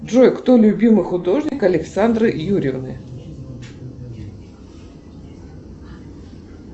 джой кто любимый художник александры юрьевны